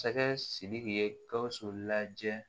Masakɛ sidiki ye gawusu lajɛ